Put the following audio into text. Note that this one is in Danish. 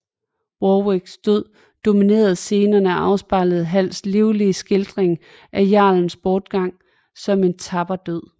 Warwicks død dominerer scenerne og afspejler Halls livlige skildring af jarlens bortgang som en tapper død